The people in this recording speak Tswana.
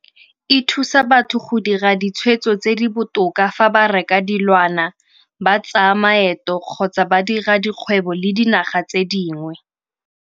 E thusa batho go dira ditshwetso tse di botoka fa ba reka dilwana, ba tsaya maeto kgotsa ba dira dikgwebo le dinaga tse dingwe.